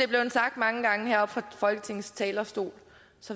er blevet sagt mange gange heroppe fra folketingets talerstol